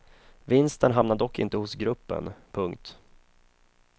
Vinsten hamnar dock inte hos gruppen. punkt